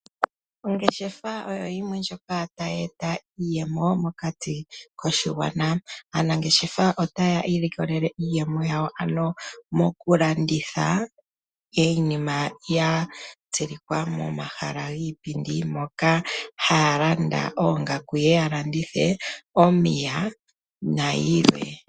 Ongeshefa oyo yimwe ndjoka tayi eta iiyemo mokati koshigwana. Aanangeshefa taa ilikolele iiyemo yawo, another mokulanditha iinima ya tsilikwa momahala giipindi, moka haa landa oongaku ye ye ya landithe, noshowo omapaya na yilwe.